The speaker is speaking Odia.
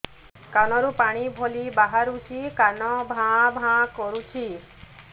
କାନ ରୁ ପାଣି ଭଳି ବାହାରୁଛି କାନ ଭାଁ ଭାଁ କରୁଛି